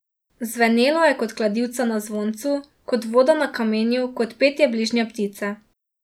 Zvenelo je kot kladivca na zvoncu, kot voda na kamenju, kot petje bližnje ptice.